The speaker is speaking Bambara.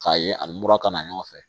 K'a ye ani mura ka na ɲɔgɔn fɛ